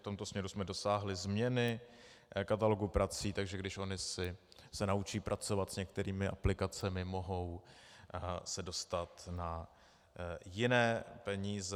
V tomto směru jsme dosáhli změny katalogu prací, takže když ony se naučí pracovat s některými aplikacemi, mohou se dostat na jiné peníze.